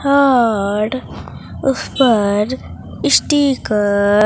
और उस पर स्टिकर --